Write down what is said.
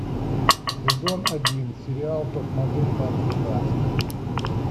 сезон один сериал топ модель по американски